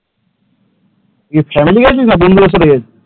কি family গিয়েছিলিস না বন্ধুদের সাথে গিয়েছিলিস?